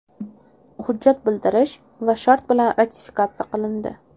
Hujjat bildirish va shart bilan ratifikatsiya qilindi.